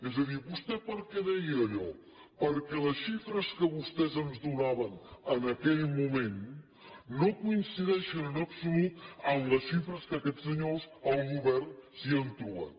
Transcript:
és a dir vostè per què deia allò perquè la xifres que vostès ens donaven en aquell moment no coincideixen en absolut amb les xifres que aquests senyors el govern s’hi ha trobat